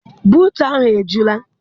Buutu ahụ ejula?